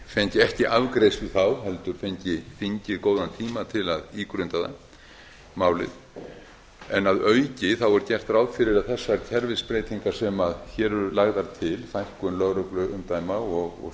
fengi ekki afgreiðslu þá heldur fengi þingið góðan tíma til að ígrunda málið en að auki er gert ráð fyrir að þessar kerfisbreytingar sem hér eru lagðar til fækkun lögregluumdæma og